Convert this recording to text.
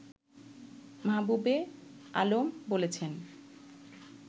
মাহবুবে আলম বলেছেন